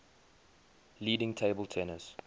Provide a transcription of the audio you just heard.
leading table tennis